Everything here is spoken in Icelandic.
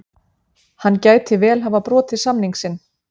Hann gæti vel hafa brotið samning sinn.